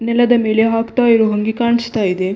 ನೆಲದ ಮೇಲೆ ಹಾಕ್ತಾ ಇರುವಂಗೆ ಕಾಣಿಸ್ತಾ ಇದೆ.